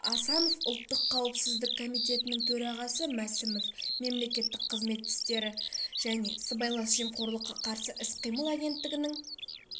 асанов ұлттық қауіпсіздік комитетінің төрағасы мәсімов мемлекеттік қызмет істері және сыбайлас жемқорлыққа қарсы іс-қимыл агенттігінің